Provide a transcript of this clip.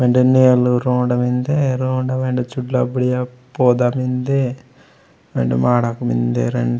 वेंडे नेलु रोंडा मेन्दे रोंडा वेंडे चुड़ला - बुडिया पौधा मेन्दे वेंडे माड़क मेन्दे।